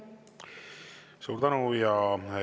Suur tänu!